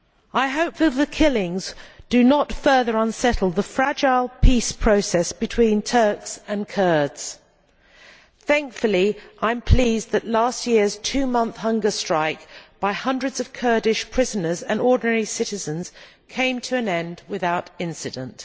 I hope that the killings do not further unsettle the fragile peace process between Turks and Kurds. Thankfully, I am pleased that last year's two month hunger strike by hundreds of Kurdish prisoners and ordinary citizens came to an end without incident.